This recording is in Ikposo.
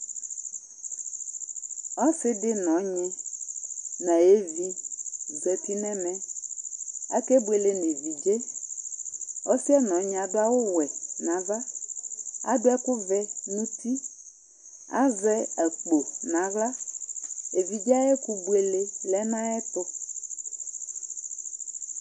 Ɔsɩ dɩ nɔɣnɩ nayevɩ zatɩ nɛmɛ, akebuele nevɩdze Ɔsɩɛ nɔɣnɩ adʊ awʊ wɛ nava, adʊ ɛkʊ vɛ nutɩ Azɛ akpo nawla Evɩdze ayɛkʊ buele lɛ nayɛtʊ